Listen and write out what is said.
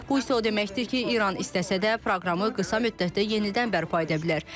Bu isə o deməkdir ki, İran istəsə də proqramı qısa müddətdə yenidən bərpa edə bilər.